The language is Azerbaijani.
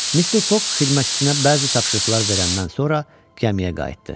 Mister Foq xidmətçisinə bəzi tapşırıqlar verəndən sonra gəmiyə qayıtdı.